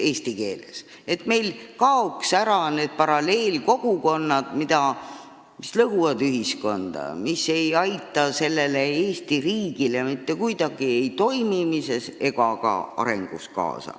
Eesmärk on, et meil kaoks ära need paralleelkogukonnad, mis lõhuvad ühiskonda ja mis ei aita kuidagi kaasa Eesti riigi toimimisele ega ka arengule.